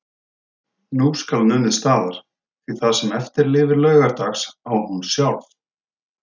Nú skal numið staðar, því það sem eftir lifir LAUGARDAGS á hún sjálf.